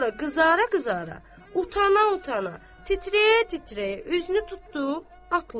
Sonra qızara-qızara, utana-utana, titrəyə-titrəyə üzünü tutdu atlıya.